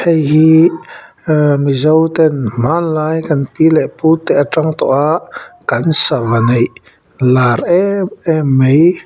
heihi aa mizo ten hmanlai kan pi leh pu te atang tawha kan sava neih lar em em mai.